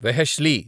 వెహెష్లీ